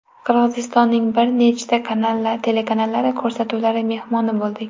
Qirg‘izistonning bir nechta telekanallari ko‘rsatuvlari mehmoni bo‘ldik.